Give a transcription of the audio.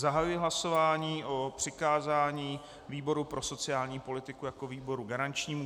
Zahajuji hlasování o přikázání výboru pro sociální politiku jako výboru garančnímu.